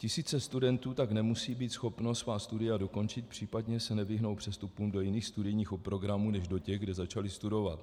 Tisíce studentů tak nemusí být schopny svá studia dokončit, případně se nevyhnou přestupům do jiných studijních programů než do těch, kde začaly studovat.